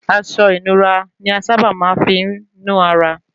Aṣọ ìnura ni a sa bà máa ń fí nu ara